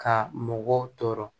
Ka mɔgɔw tɔɔrɔ